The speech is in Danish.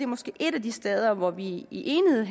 måske et af de steder hvor vi i enighed